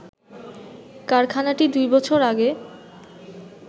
কারখানাটি দুইবছর আগে